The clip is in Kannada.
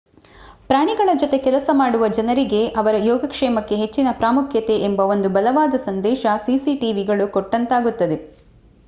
ಪ್ರಾಣಿಗಳ ಜೊತೆ ಕೆಲಸ ಮಾಡುವ ಜನರಿಗೆ ಅವರ ಯೋಗಕ್ಷೇಮಕ್ಕೆ ಹೆಚ್ಚಿನ ಪ್ರಾಮುಖ್ಯತೆ ಎಂಬ ಒಂದು ಬಲವಾದ ಸಂದೇಶ cctvಗಳು ಕೊಟ್ಟಂತಾಗುತ್ತದೆ